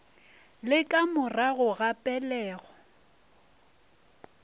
le ka morago ga pelego